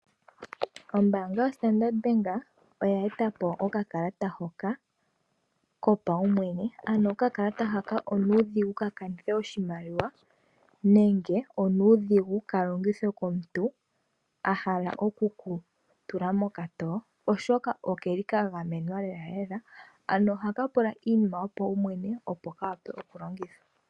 Ombaanga yo Standard Bank oya eta po okakalata hoka kopaumwene. Ano okakalata haka onuudhigu ka kanithe oshimaliwa, nenge onuudhigu ka longithwe komuntu a hala oku ku tula mokatowo. Oshoka oke li ka gamenwa lelalela, ano ohaka pula iinima yopaumwene opo ka wape okulongithwa.